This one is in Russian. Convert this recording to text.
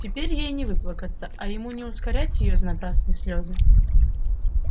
теперь ей не выплакаться а ему не укорять её за напрасные слезы